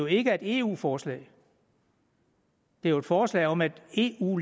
ikke er et eu forslag det er jo et forslag om at eu